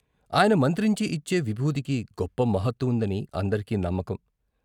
ఆయన మంత్రించి ఇచ్చే విబూదికి గొప్ప మహత్తు ఉందని అందరికీ నమ్మకం.